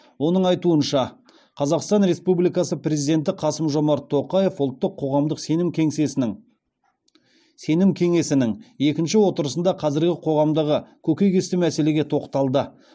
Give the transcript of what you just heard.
оның айтуынша қазақстан республикасы президенті қасым жомарт тоқаев ұлттық қоғамдық сенім кеңесінің екінші отырысында қазіргі қоғамдағы көкейкесті мәселеге тоқталды